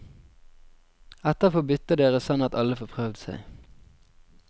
Etterpå bytter dere sånn at alle får prøvd seg.